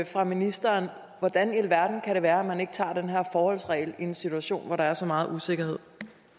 fra ministeren hvordan i alverden kan det være at man ikke tager den her forholdsregel i en situation hvor der er så meget usikkerhed